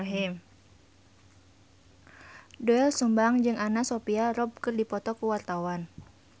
Doel Sumbang jeung Anna Sophia Robb keur dipoto ku wartawan